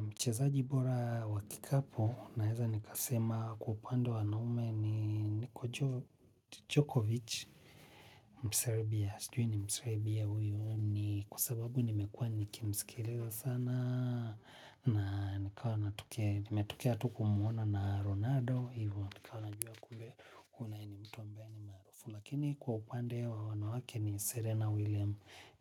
Mchezaji bora wakikapu naeza nika sema kwa upande wa wanaume ni Nico Djokovic. Msarabia, sujui ni msarabia huyuni kwasababu nimekua nikimsikiliza sana na ni kawa natokea. Nimetokea tu kumuono na Ronaldo, hivo nikawa najua kule unaye nimtu ambaye ni marufu. Lakini kwa kupande wa wanawake ni Serena William.